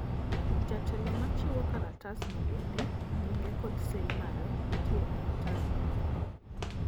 jatelo machiwo kalatas no bedne nyinge kod seyi mare nitie e otas mar nyuol